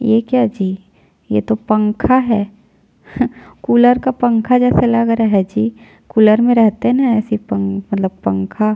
ये क्या जी ये तो पंखा है हह कूलर का पंखा जैसा लग रहा है जी कूलर में रहते है न अइसे पंखा मतलब पंखा--